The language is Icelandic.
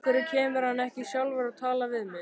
Af hverju kemur hann ekki sjálfur og talar við mig?